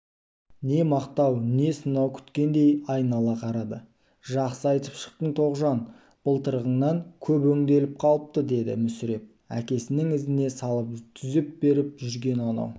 не мақтау не сынау күткендей айнала қарады жақсы айтып шықтың тоғжан былтырғыңнан көп өңделіп қалыпты деді мүсіреп әкесінің ізіне салып түзеп беріп жүрген анау